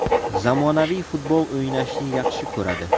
Zamonaviy futbol o‘ynashni yaxshi ko‘radi.